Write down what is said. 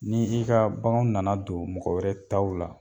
Ni i ka baganw nana don mɔgɔ wɛrɛ taw la